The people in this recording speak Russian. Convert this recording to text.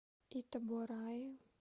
итабораи